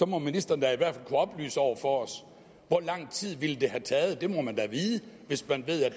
må ministeren da i hvert fald kunne oplyse over for os hvor lang tid det ville have taget det må man da vide hvis man